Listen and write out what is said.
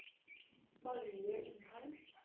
Marie Undheim